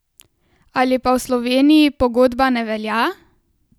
Ali pa v Sloveniji pogodba ne velja?